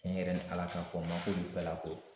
Tiɲɛ yɛrɛ ni Ala ka fɔ n ma k'olu fɛlako